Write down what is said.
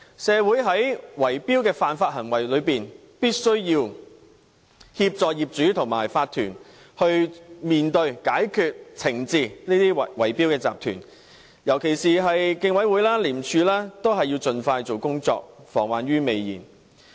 對於圍標的犯法行為，政府必須協助業主和法團面對和解決問題，以及懲治這些圍標集團，尤其是競委會及廉署，均須盡快進行工作，防患於未然。